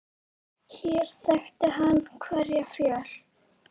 Hér þekkti hann hverja fjöl.